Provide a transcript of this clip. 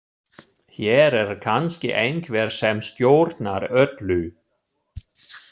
Hér er kannski einhver sem stjórnar öllu.